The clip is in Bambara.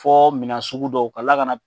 Fɔ minɛn sugu dɔw ka tila ka na